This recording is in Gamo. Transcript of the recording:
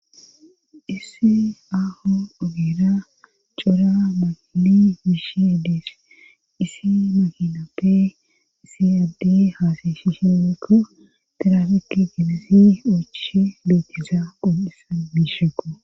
issi aaho ogera cora makili miishi ddis isi makinappe siyaddi haasashishewekko terafekki ginisi uochishe loeteza qon7isan miisheqo